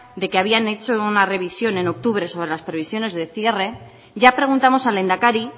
de que habían hecho una revisión en octubre sobre las previsiones de cierre ya preguntamos al lehendakari